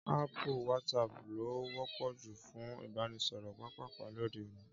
Áàpù WhatsApp ló wọ́pọ̀ jù fún ìbánisọ̀rọ̀ pápàpá lóde òní